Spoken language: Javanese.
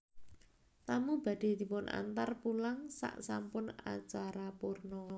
Tamu badhe dipunantar pulang saksampun acara purna